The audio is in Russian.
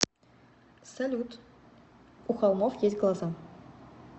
салют у холмов есть глаза